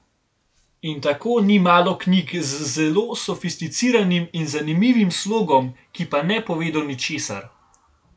In tako ni malo knjig z zelo sofisticiranim in zanimivim slogom, ki pa ne povedo ničesar.